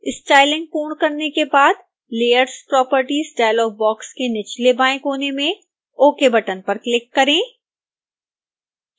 styling पूर्ण करने के बाद layers properties डायलॉग बॉक्स के निचलेबाएं कोने में ok बटन पर क्लिक करें